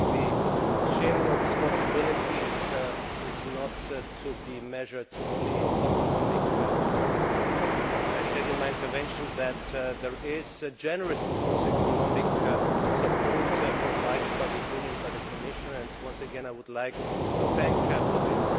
I think the sharing of responsibilities is not to be measured only in economic terms, and I said in my intervention that generous economic support is also provided by the Union and by the Commission and, once again, I would like to thank you for this.